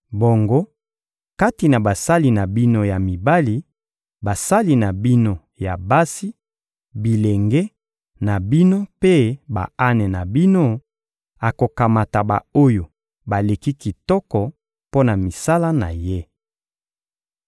Bongo, kati na basali na bino ya mibali, basali na bino ya basi, bilenge na bino mpe ba-ane na bino, akokamata ba-oyo baleki kitoko mpo na misala na ye.